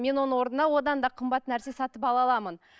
мен оның орнына одан да қымбат нәрсе сатып ала аламын